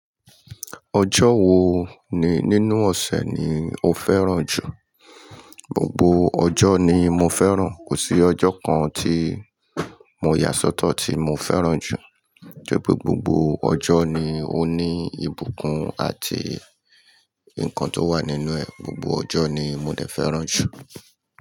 Ọjọ́ wo ni nínú ọ̀sẹ̀ ni o fẹ́ràn jù? Gbogbo ọjọ́ ni mo fẹ́ràn, kò sí ọjọ́ kan tí mo yà sọ́tọ̀ tí mo fẹ́ràn jù. Tori pe gbogbo ọjọ́ ni ó ní ìbùkún àti nǹkan tó wà nínú ẹ̀. Gbogbo ọjọ́ ni mo dè fẹ́ràn jù.